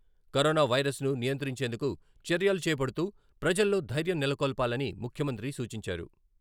Corona వైరసన్ను నియంత్రించేందుకు చర్యలు చేపడుతూ ప్రజల్లో ధైర్యం నెలకొల్పాలని ముఖ్యమంత్రి సూచించారు.